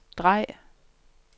drej